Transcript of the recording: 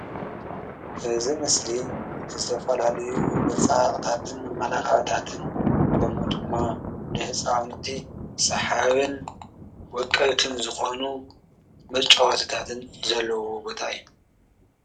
እዚ ምስሊ ዝተፈላለዩ መፀባበቕታትን መመላክዕታትን ከምኡ ድማ ንህፃውንቲ ሰሓብን ወቀብትን ዝኾኑ መጫወትታትን ዘለዉዎ ቦታ እዩ፡፡